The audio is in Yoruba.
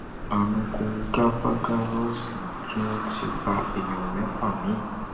àrùn kòǹgafagarósóì tún ti pa èèyàn mẹfà mi